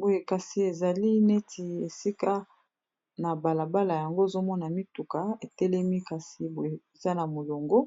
boye kasi ezali neti esika na balabala yango ozomona mituka etelemi kasi boye eza na moyongo